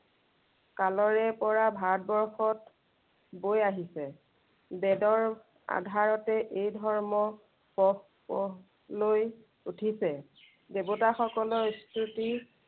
কালৰে পৰা ভাৰতবৰ্ষত বৈ আহিছে। বেদৰ আধাৰতে এই ধৰ্ম প্ৰ লৈ উঠিছে। দেৱতাসকলৰ স্তুতি